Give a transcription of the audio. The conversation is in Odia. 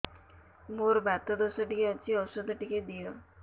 ମୋର୍ ବାତ ଦୋଷ ଟିକେ ଅଛି ଔଷଧ ଟିକେ ଦିଅ